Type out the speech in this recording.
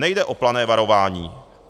Nejde o plané varování.